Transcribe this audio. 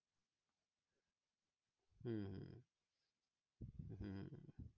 হম হম